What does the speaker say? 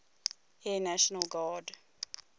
air national guard